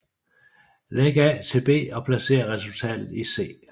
Læg A til B og placer resultatet i C